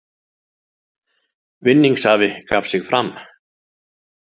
Vinningshafi gaf sig fram